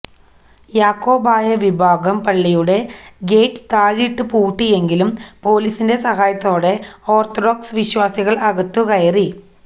യാക്കോബായ വിഭാഗം പള്ളിയുടെ ഗേറ്റ് താഴിട്ട് പൂട്ടിയെങ്കിലും പൊലീസിന്റെ സഹായത്തോടെ ഓർത്തഡോക്സ് വിശ്വാസികൾ അകത്തു കയറി